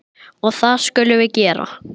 Og það skulum við gera.